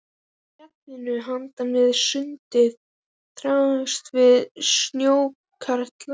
Í fjallinu handan við sundið þráuðust við snjóskaflar.